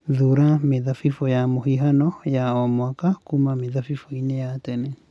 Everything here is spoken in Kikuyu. Thuura mĩthabibũ ya mũhihano ya o mwaka kuuma mĩthabibũ-inĩ ya tene